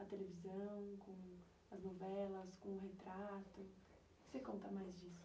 da televisão, com as novelas. O que você conta mais disso?